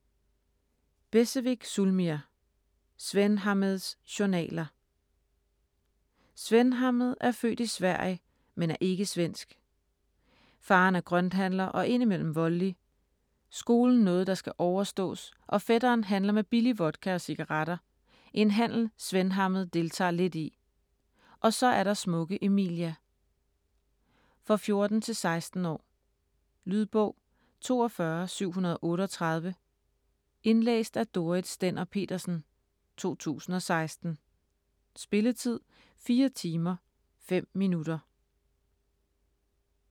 Becevic, Zulmir: Svenhammeds journaler Svenhammed er født i Sverige, men er ikke svensk. Faderen er grønthandler og indimellem voldelig, skolen noget der skal overståes, og fætteren handler med billig vodka og cigaretter, en handel Svenhammed deltager lidt i. Og så er der smukke Emilia. For 14-16 år. Lydbog 42738 Indlæst af Dorrit Stender-Petersen, 2016. Spilletid: 4 timer, 5 minutter.